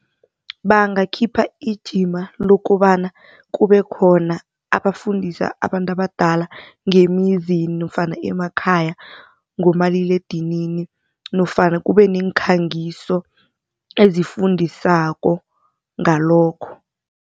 Bangakhipha ijima lokobana kube khona abafundisa abantu abadala ngemizini nofana emakhaya ngomaliledinini nofana kube nemikhangiso ezifundisako ngalokho.